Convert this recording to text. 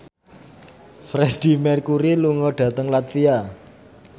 Freedie Mercury lunga dhateng latvia